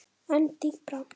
En dýpra?